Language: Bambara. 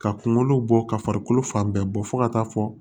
Ka kunkolo bɔ ka farikolo fan bɛɛ bɔ fɔ ka taa fɔ